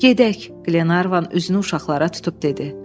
Gedək, Glenarvan üzünü uşaqlara tutub dedi.